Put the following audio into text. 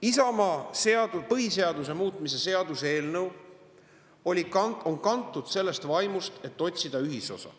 Isamaa põhiseaduse muutmise seaduse eelnõu on kantud sellest vaimust, et otsida ühisosa.